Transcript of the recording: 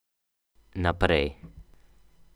Naprej.